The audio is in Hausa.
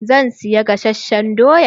Zan siya gasasshen doya.